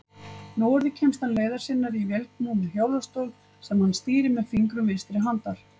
Núorðið kemst hann leiðar sinnar í vélknúnum hjólastól, sem hann stýrir með fingrum vinstri handar.